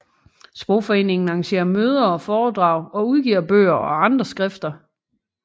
Sprogforeningen arrangerer møder og foredrag og udgiver bøger og andre skrifter